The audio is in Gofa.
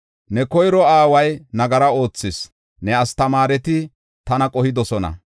Ne koyro aaway nagara oothis; ne astamaareti tana qohidosona.